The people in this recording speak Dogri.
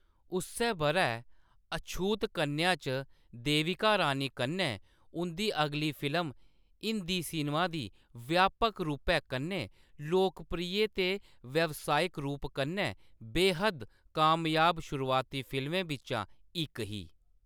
उस्सै बʼरै अछूत कन्या च देविका रानी कन्नै उंʼदी अगली फिल्म हिंदी सिनेमा दी व्यापक रूपै कन्नै लोकप्रिय ते व्यावसायिक रूप कन्नै बेहद्द कामयाब शुरुआती फिल्में बिच्चा इक ही।